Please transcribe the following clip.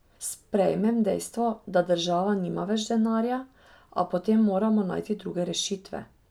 Sprejmem dejstvo, da država nima več denarja, a potem moramo najti druge rešitve.